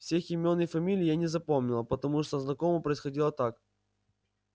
всех имён и фамилий я не запомнила потому что знакомо происходило так